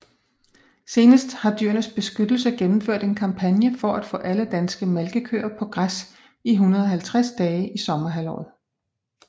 Senest har Dyrenes Beskyttelse gennemført en kampagne for at få alle danske malkekøer på græs i 150 dage i sommerhalvåret